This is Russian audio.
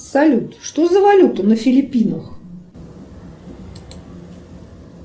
салют что за валюта на филиппинах